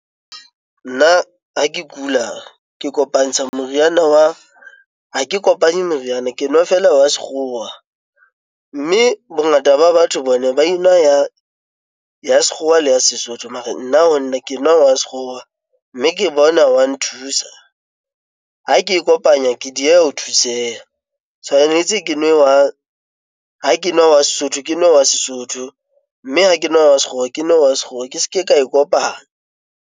Nna ha ke kula ke kopantsha moriana wa ha ke kopanye meriana, ke nwa feela wa sekgowa mme bongata ba batho bona ba enwa ya sekgowa le ya Sesotho. Mara nna ho nna ke nwa wa sekgowa mme ke bona wa nthusa ha ke e kopanya, ke dieha ho thuseha. Tshwanetse ke nwe jwang ha ke nwa wa Sesotho, ke nwa wa Sesotho mme ha ke nwa wa sekgowa ke nwe wa sekgowa. Ke se ke ka e kopanya.